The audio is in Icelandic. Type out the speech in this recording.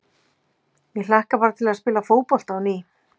Ég hlakka bara til að spila fótbolta á ný.